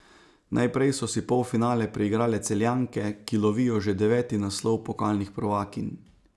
Najprej so si polfinale priigrale Celjanke, ki lovijo že deveti naslov pokalnih prvakinj.